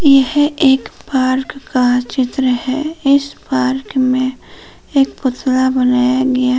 यह एक पार्क का चित्र है इस पार्क में एक पुतला बनाया गया है।